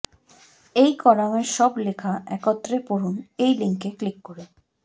এই কলামের সব লেখা একত্রে পড়ুন এই লিংকে ক্লিক করে